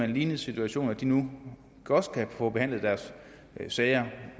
en lignende situation nu også kan få behandlet deres sager